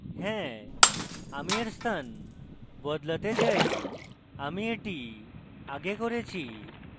হ্যাঁ আমি yes স্থান বদলাতে চাই আমি এটি আগে করেছি